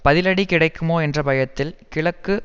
பதிலடி கிடைக்குமோ என்ற பயத்தில் கிழக்கு